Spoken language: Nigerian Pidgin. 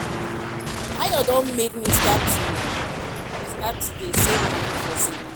Ayo don make me start to start to dey save money for saving box